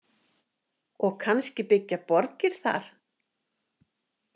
Og kannski byggja borgir þar?